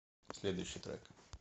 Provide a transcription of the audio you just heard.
следующий трек